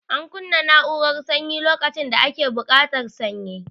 Ana kunna na'urara sanyi lokacin da ake buƙatar sanyi